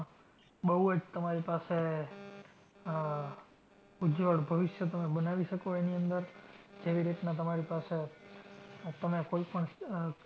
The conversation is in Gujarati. બઉ જ તમારી પાસે આહ ઉજ્જવળ ભવિષ્ય તમે બનાવી શકો એની અંદર જેવી રીતના તમારી પાસે, આજ તમે કોઈ પણ